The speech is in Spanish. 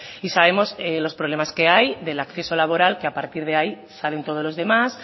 y sabemos los problemas que hay del acceso laboral que a partir de ahí salen todos los demás